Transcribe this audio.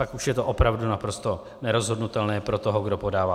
Pak už je to opravdu naprosto nerozhodnutelné pro toho, kdo podává.